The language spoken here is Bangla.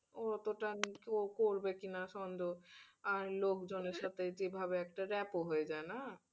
ও অতোটা ও করবে কিনা সন্দেহ আর লোকজনের সাথে যেভাবে একটা gape ও হয়ে যায় না